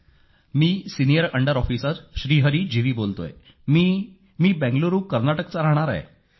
मी senior under officer Shri Hari G V बोलतोय मी बंगळुरु कर्नाटकचा राहणारा आहे